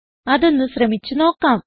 അതൊന്ന് ശ്രമിച്ച് നോക്കാം